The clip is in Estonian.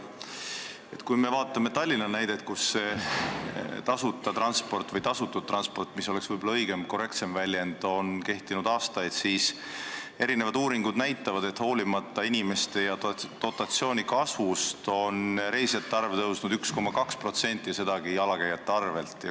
Kui me vaatame Tallinna näidet, kus see tasuta transport – või tasutud transport, mis oleks võib-olla õigem, korrektsem väljend – on kehtinud aastaid, siis uuringud näitavad, et hoolimata elanike ja dotatsiooni kasvust on reisijate arv tõusnud 1,2% ja sedagi jalakäijate arvel.